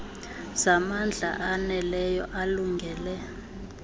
zamandla aneleyo alungele